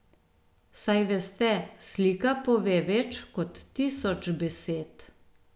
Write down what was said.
Saj veste, slika pove več kot tisoč besed.